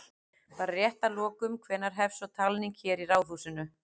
Bara rétt að lokum, hvenær hefst svo talning hér í Ráðhúsinu?